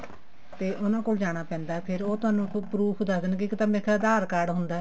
ਤੇ ਉਹਨਾ ਕੋਲ ਜਾਣਾ ਪੈਂਦਾ ਫ਼ੇਰ ਉਹ ਥੋਨੂੰ proof ਦੱਸ ਦੇਣਗੇ ਇੱਕ ਤਾਂ ਮੇਰਾ ਖਿਆਲ ਆਧਾਰ card ਹੁੰਦਾ